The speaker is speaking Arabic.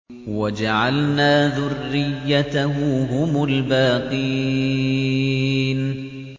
وَجَعَلْنَا ذُرِّيَّتَهُ هُمُ الْبَاقِينَ